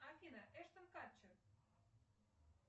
афина эштон катчер